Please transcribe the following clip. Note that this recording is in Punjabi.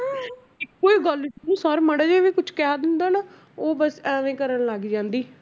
ਕੋਈ ਗੱਲ sir ਮਾੜਾ ਜਿਹਾ ਵੀ ਕੁਛ ਕਹਿ ਦਿੰਦਾ ਨਾ ਉਹ ਬਸ ਇਵੇਂ ਕਰਨ ਲੱਗ ਜਾਂਦੀ।